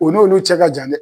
O on'lu cɛ ka jan dɛ